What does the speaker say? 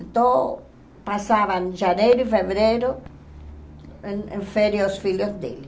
Então, passavam janeiro e fevereiro em em férias os filhos deles.